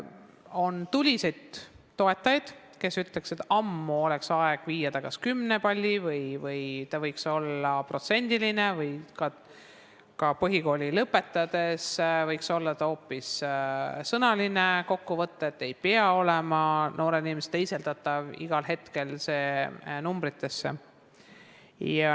On tuliseid toetajaid, kes ütlevad, et ammu oleks aeg muuta see kümnepallisüsteemiks, hindamine võiks olla protsendiline või põhikooli lõpetades võiks olla hoopis sõnaline kokkuvõte ja see ei pea olema igal hetkel teisendatav numbritesse.